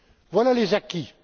Voilà les acquis.